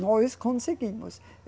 Nós conseguimos.